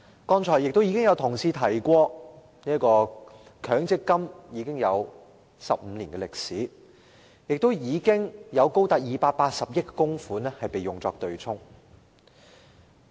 剛才有同事提到，強積金已有15年歷史，並有高達280億元供款被用作對沖。